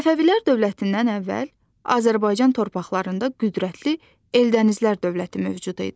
Səfəvilər dövlətindən əvvəl Azərbaycan torpaqlarında qüdrətli Eldənizlər dövləti mövcud idi.